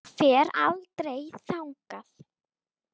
Ég fer aldrei þangað.